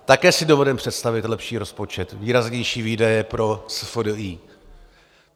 Také si dovedeme představit lepší rozpočet, výraznější výdaje pro SFDI.